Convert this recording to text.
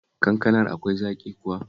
Kankanar akwai zaƙi kuwa?